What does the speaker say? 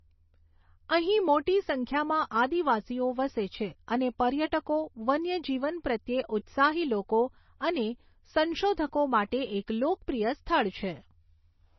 અહીં મોટી સંખ્યામાં આદિવાસીઓ વસે છે અને પર્યટકો, વન્યજીવન પ્રત્યે ઉત્સાહી લોકો અને સંશોધકો માટે એક લોકપ્રિય સ્થળ છે.